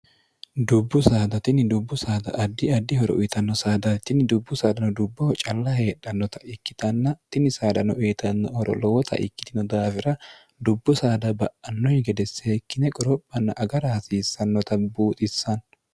dubbu saadatinni dubbu saada addi addi horo uyitanno saadachinni dubbu saadano dubboho calla heedhannota ikkitanna tini saadano eitnno horolowota ikkitino daafira dubbu saada ba'annoyi gede seekkine qoro'manna agara hasiissannota buuxissanno